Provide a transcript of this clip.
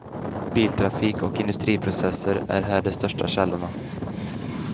Biltrafik och industriprocesser är här de största källorna.